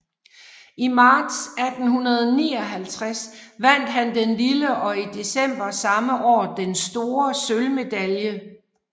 I marts 1859 vandt han den lille og i december samme år den store sølvmedalje